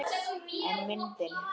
En myndin.